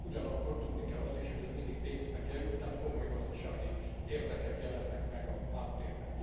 Ugyanakkor tudni kell azt is, hogy ez mindig pénzbe kerül, tehát komoly gazdasági érdekek jelennek meg a háttérben.